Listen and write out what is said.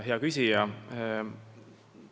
Hea küsija!